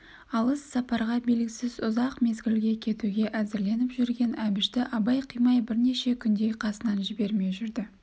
алыс сапарға белгісіз ұзақ мезгілге кетуге әзірленіп жүрген әбішті абай қимай бірнеше күндей қасынан жібермей жүрді